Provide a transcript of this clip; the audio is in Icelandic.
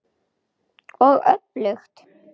Og öfugt.